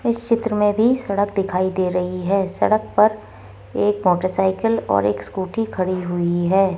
इस चित्र में भी सड़क दिखाई दे रही है सड़क पर एक मोटरसाइकल और एक स्कूटी खड़ी हुई है।